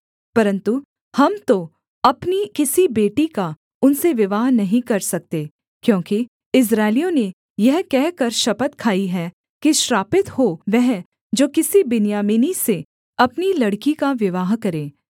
परन्तु हम तो अपनी किसी बेटी का उनसे विवाह नहीं कर सकते क्योंकि इस्राएलियों ने यह कहकर शपथ खाई है कि श्रापित हो वह जो किसी बिन्यामीनी से अपनी लड़की का विवाह करें